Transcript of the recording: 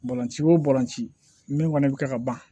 Balɔnci o balɔnci min kɔni bɛ kɛ ka ban